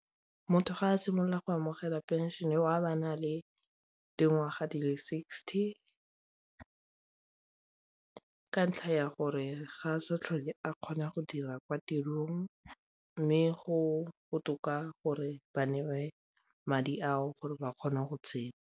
Motho ga a simolola go amogela pension-e o a bo a na le dingwaga di le sixty ka ntlha ya gore ga sa tlhole a kgona go dira kwa tirong mme go botoka gore ba neiwe madi ao gore ba kgona go tshela.